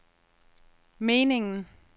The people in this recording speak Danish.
meningen